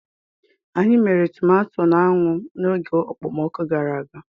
Anyị mere tomato n'anwụ n'oge okpomọkụ gara aga.